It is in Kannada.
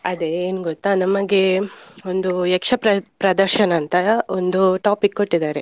ಅದೇ ಏನ್ ಗೊತ್ತಾ ನಮಗೆ ಒಂದು ಯಕ್ಷ ಪ್ರ~ ಪ್ರದರ್ಶನ ಅಂತ ಒಂದು topic ಕೊಟ್ಟಿದಾರೆ.